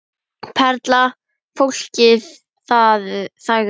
Perla Fólkið þagði.